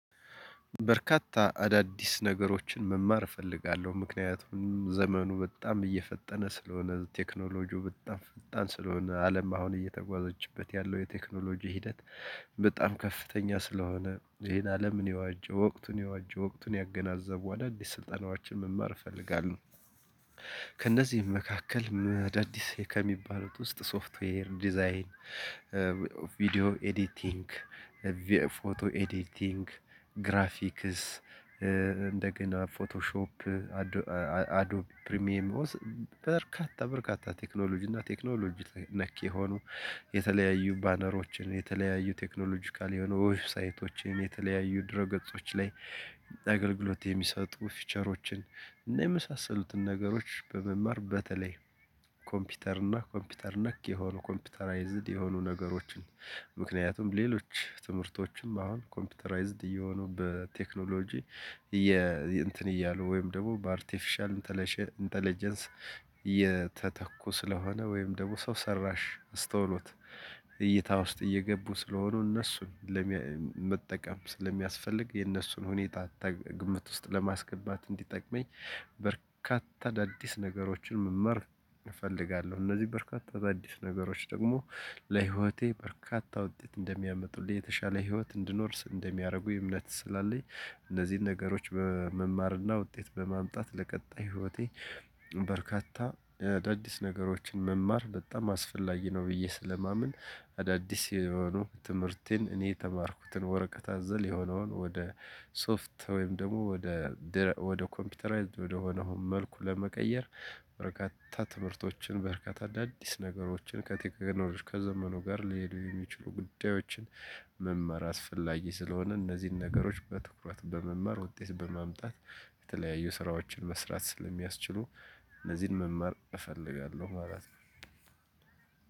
በርካታ አዳዲስ ነገሮችን መማር እፈልጋለሁ። ምክንያቱም ዘመኑ በጣም እየፈጠነ ስለሆነ፤ ቴክኖሎጂው በጣም ፈጣን ስለሆነ፤ አለም አሁን እየተጓዘችበት ያለው የቴክኖሎጂ ሂደት በጣም ከፍተኛ ስለሆነ ይሄን አለምን የዋጁ ወቅቱን የዋጁ ወቅቱን ያገናዘቡ አዳዲስ ስልጠናዎችን መማር እፈልጋለሁ። ከእነዚህም መካከል አዳዲስ ከሚባሉት ውስጥ፦ ሶፍትዌር ዲዛይን ቪዲዮ ኤዲቲንግ፣ ፎቶ ኤዲቲንግ፣ ግራፊክስ እንደገና ፎቶሾፕ አዶብ ፕሪሚየም በርካታ በርካታ ቴክኖሎጂ እና ቴክኖሎጂ ነክ የሆኑ የተለያዩ ባነሮችን፣ የተለያዩ ቴክኖሎጂካል የሆኑ ዌብሳይቶችን፣ የተለያዩ ድህረ ገጾች ላይ አገልግሎት የሚሰጡ ፊቸሮችን እና የመሳሰሉትን ነገሮች በመማር በተለይ ኮምፒውተር እና ኮምፒውተር ነክ የሆኑ ኮምፒውተራይዝድ የሆኑ ነገሮችን፤ ምክንያቱም ሌሎች ትምህርቶችም አሁን ኮምፒውተራይዝድ እየሆኑ በቴክኖሎጂ እንትን እያሉ ወይም ደግሞ በአርቲፊሻል ኢንተለጀንስ እየተተኩ ስለሆነ ወይም ደግሞ ሰው ሰራሽ አስተውሎት እይታ ውስጥ እየገቡ ስለሆኑ፤ እነሱን ለመጠቀም ስለሚያስፈልግ የእነሱን ሁኔታ ግምት ውስጥ ለማስገባት እንዲጠቅመኝ፤ በርካታ አዳዲስ ነገሮችን መመር እፈልጋለሁ። እነዚህ በርካታ አዳዲስ ነገሮች ደግሞ ለህይወቴ በርካታ ውጤት እንደሚያመጡልኝ፤ የተሻለ ህይወት እንድኖር እንደሚያደርጉኝ እምነት ስላለኝ፤ እነዚህን ነገሮች በመማርና ውጤት በማምጣት ለቀጣይ ህይወቴ በርካታ አዳዲስ ነገሮችን መማር በጣም አስፈላጊ ነው ብዬ ስለማምን፤ አዳዲስ የሆኑ ትምህርቴን እኔ የተማርኩትን ወረቀት አዘል የሆነውን፤ ወደ ሶፍት ወይም ደግሞ ወደ ወደ ኮምፒውተራይዝድ ወደሆነውን መልኩ ለመቀየር በርካታ ትምህርቶችን፣ በርካታ አዳዲስ ነገሮችን፣ ከቴክኖሎጂ ከዘመኑ ጋር ሊሄዱ የሚችሉ ጉዳዮችን መማር አስፈላጊ ስለሆነ፤ እነዚህን ነገሮች በትኩረት በመማር ውጤት በማምጣት የተለያዩ ስራዎችን መስራት ስለሚያስችሉ፤ እነዚህን መማር እፈልጋለሁ ማለት ነው።